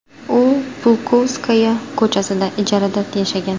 U Pulkovskaya ko‘chasida ijarada yashagan.